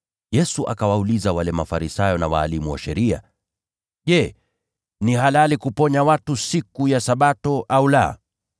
Yesu akawauliza wale Mafarisayo na walimu wa sheria, “Je, ni halali kuponya watu siku ya Sabato au la?”